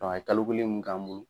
Dɔ a ye kalo kelen mun k'an bolo